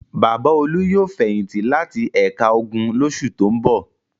Bàbá Olú yóò fẹ̀yìntì láti ẹ̀ka ogun lóṣù tó ń bọ̀.